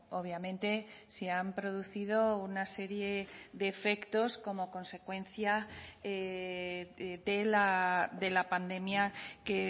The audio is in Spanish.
obviamente se han producido una serie de efectos como consecuencia de la pandemia que